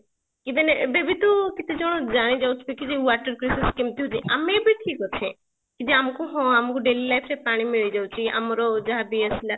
even ଏବେ ବି ତ କେତେ ଜଣ ଜାଣି ଯାଉଥିବେ କି water crisis କେମତି ହଉଛି ଆମେ ବି ଠିକ ଅଛେ ଯଦି ଆମକୁ ହଁ ଆମକୁ daily life ରେ ପାଣି ମିଳିଯାଉଛି ଆମର ଯାହାବି ଆସିଲା